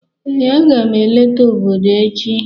Ee, a ga m eleta obodo echi